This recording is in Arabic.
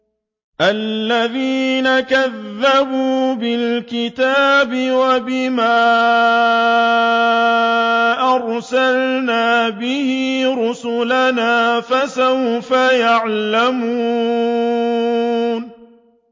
الَّذِينَ كَذَّبُوا بِالْكِتَابِ وَبِمَا أَرْسَلْنَا بِهِ رُسُلَنَا ۖ فَسَوْفَ يَعْلَمُونَ